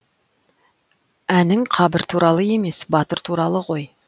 әнің қабір туралы емес батыр туралы ғой